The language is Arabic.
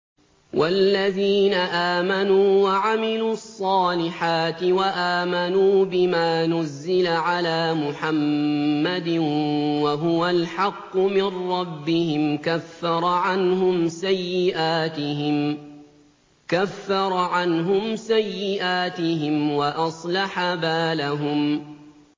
وَالَّذِينَ آمَنُوا وَعَمِلُوا الصَّالِحَاتِ وَآمَنُوا بِمَا نُزِّلَ عَلَىٰ مُحَمَّدٍ وَهُوَ الْحَقُّ مِن رَّبِّهِمْ ۙ كَفَّرَ عَنْهُمْ سَيِّئَاتِهِمْ وَأَصْلَحَ بَالَهُمْ